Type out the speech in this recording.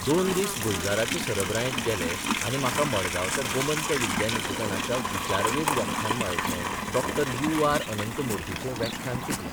दोन दीस गुलजाराचे सरबरायेंत गेले आनी म्हाका मडगांवच्या गोमंत विद्या निकेतनाच्या विचारवेध व्याख्यानमाळेंतलें डॉ यू आर अनंतमुर्तीचें व्याख्यान चुकलें.